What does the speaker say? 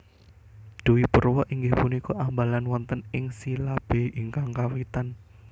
Dwipurwa inggih punika ambalan wonten ing silabé ingkang kawitan